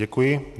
Děkuji.